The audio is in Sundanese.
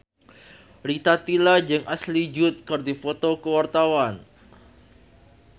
Rita Tila jeung Ashley Judd keur dipoto ku wartawan